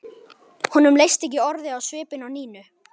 Honum leist ekki orðið á svipinn á Nínu.